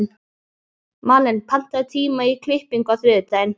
Malen, pantaðu tíma í klippingu á þriðjudaginn.